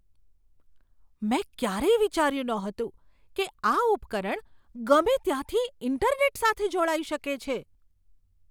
મેં ક્યારેય વિચાર્યું નહોતું કે આ ઉપકરણ ગમે ત્યાંથી ઈન્ટરનેટ સાથે જોડાઈ શકે છે.